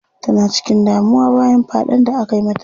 Tana cikin damuwa bayan faɗen da akayi mata.